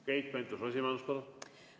Keit Pentus-Rosimannus, palun!